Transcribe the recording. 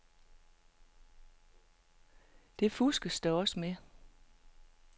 Det fuskes der også med.